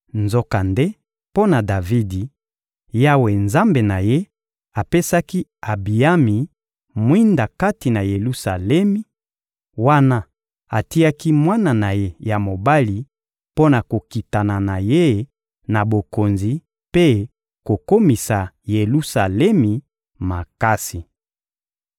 Nzokande, mpo na Davidi, Yawe Nzambe na ye, apesaki Abiyami mwinda kati na Yelusalemi, wana atiaki mwana na ye ya mobali mpo na kokitana na ye na bokonzi mpe kokomisa Yelusalemi makasi.